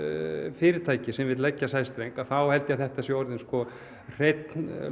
fyrirtækis sem vill leggja sæstreng þá held ég að þetta sé orðin hrein